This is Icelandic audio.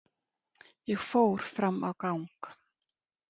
Ég fór fram á gang.